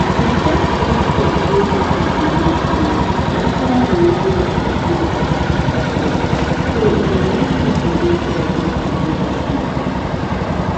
e get dis faith wey people believe sey natural immunity safe pass vaccine so e dey make people dey careful to go hospital